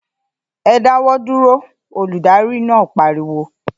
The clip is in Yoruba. ‘E̩ dáwó̩ dúró!’, olùdarí náà pariwo